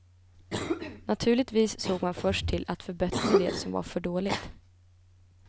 Naturligtvis såg man först till att förbättra det som var för dåligt.